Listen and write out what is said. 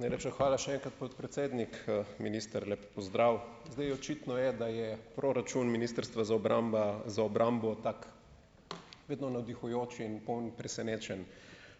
Najlepša hvala še enkrat, podpredsednik, minister, lep pozdrav. Zdaj, očitno je, da je proračun ministrstva za obramba za obrambo tako, vedno navdihujoč in poln presenečenj.